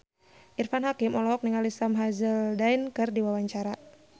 Irfan Hakim olohok ningali Sam Hazeldine keur diwawancara